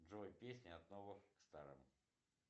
джой песни от новых к старым